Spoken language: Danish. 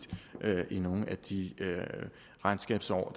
i nogen af de regnskabsår